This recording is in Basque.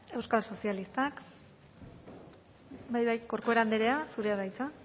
euskal sozialistak bai bai corcuera andrea zurea da hitza